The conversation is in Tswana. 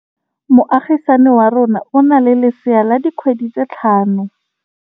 Moagisane wa rona o na le lesea la dikgwedi tse tlhano.